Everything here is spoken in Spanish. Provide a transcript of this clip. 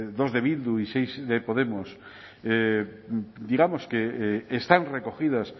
dos de bildu y seis de podemos digamos que están recogidas